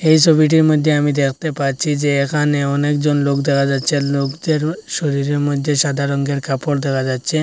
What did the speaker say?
এই ছবিটির মধ্যে আমি দেখতে পাচ্ছি যে এখানে অনেকজন লোক দেখা যাচ্ছে লোকদের শরীরের মধ্যে সাদা রঙের কাপড় দেখা যাচ্ছে।